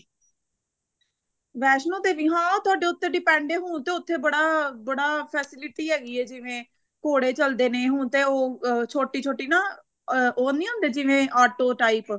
ਵੈਸਨੂੰ ਦੇਵੀ ਹਾਂ ਤੁਹਾਡੇ ਉੱਤੇ depend ਐ ਹੁਣ ਤੇ ਉੱਥੇ ਬੜਾ ਬੜਾ facility ਹੈਗੀ ਐ ਜਿਵੇਂ ਘੋੜੇ ਚੱਲਦੇ ਨੇ ਹੁਣ ਤੇ ਉਹ ਛੋਟੀ ਛੋਟੀ ਨਾ ਅਹ ਉਹ ਨੀ ਹੁੰਦੇ ਜਿਵੇਂ auto type